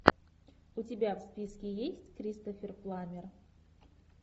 у тебя в списке есть кристофер пламмер